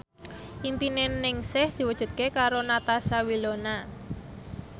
impine Ningsih diwujudke karo Natasha Wilona